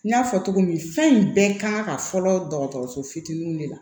N y'a fɔ cogo min fɛn in bɛɛ kan ka fɔlɔ dɔgɔtɔrɔso fitininw de la